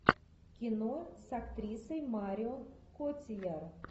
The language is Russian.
кино с актрисой марион котийяр